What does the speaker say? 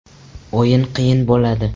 O‘yin qiyin bo‘ladi.